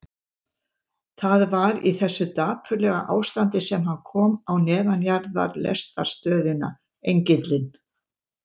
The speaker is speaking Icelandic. Það var í þessu dapurlega ástandi sem hann kom á neðanjarðarlestarstöðina Engilinn.